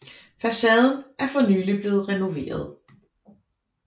Facaden er for nylig blevet renoveret